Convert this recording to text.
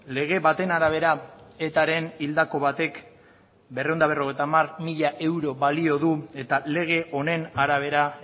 lege baten arabera etaren hildako batek berrehun eta berrogeita hamar mila euro balio du eta lege honen arabera